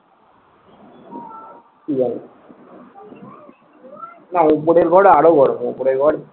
না ওপরের ঘর আরো গরম। উপরের ঘর